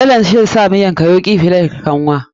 Dalan zai sa miyanka yauki fiye da kanwa.